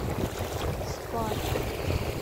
спар